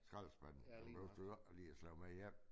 Skraldespande dem behøves du jo ikke lige at slæbe med hjem